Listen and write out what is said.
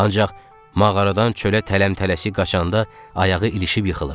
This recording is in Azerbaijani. Ancaq mağaradan çölə tələm-tələsik qaçanda ayağı ilişib yıxılıb.